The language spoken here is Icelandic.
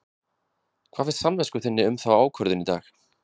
Hvað finnst samvisku þinni um þá ákvörðun í dag?